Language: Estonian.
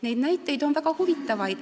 Neid näiteid on väga huvitavaid.